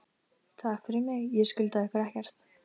Takk fyrir mig, ég skulda ykkur ekkert.